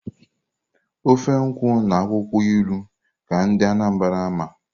ofe nkwụ na akwụkwọ ilu ka ndị Anambra ma.